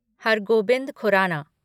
हर Gobind Khorana